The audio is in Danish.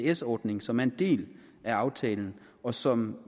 isds ordning som er en del af aftalen og som